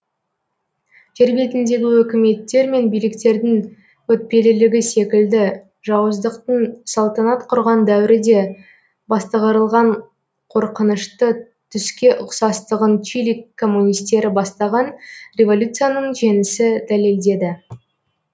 жер бетіндегі өкіметтер мен биліктердің өтпелілігі секілді жауыздықтың салтанат құрған дәуірі де бастығырылған қорқынышты түске ұқсастығын чили коммунистері бастаған революцияның жеңісі дәлелдеді